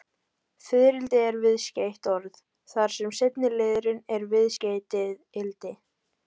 Fiðrildi er viðskeytt orð, þar sem seinni liðurinn er viðskeytið-ildi.